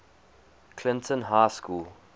clinton high school